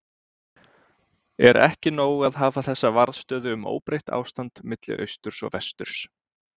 Er ekki nóg að hafa þessa varðstöðu um óbreytt ástand milli austurs og vesturs.